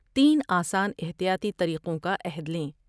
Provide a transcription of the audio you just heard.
تین آسان احتیاطی طریقوں کا عہد لیں ۔